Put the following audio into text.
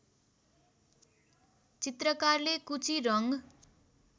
चित्रकारले कुची रङ्ग